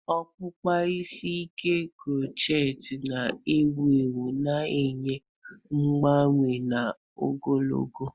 okpụkpa isi ike crochet na ewu ewu, na-enye mgbanwe na ogologo.